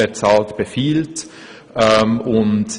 «Wer zahlt, befiehlt».